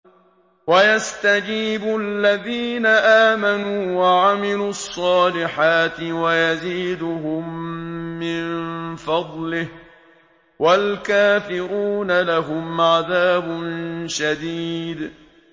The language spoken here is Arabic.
وَيَسْتَجِيبُ الَّذِينَ آمَنُوا وَعَمِلُوا الصَّالِحَاتِ وَيَزِيدُهُم مِّن فَضْلِهِ ۚ وَالْكَافِرُونَ لَهُمْ عَذَابٌ شَدِيدٌ